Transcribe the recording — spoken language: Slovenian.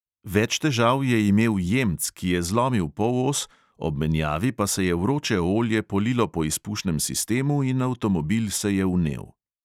Več težav je imel jemc, ki je zlomil polos, ob menjavi pa se je vroče olje polilo po izpušnem sistemu in avtomobil se je vnel.